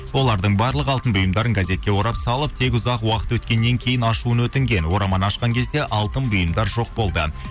олардың барлық алтын бұйымдарын газетке орап салып тек ұзақ уақыт өткеннен кейін ашуын өтінген ораманы ашқан кезде алтын бұйымдар жоқ болды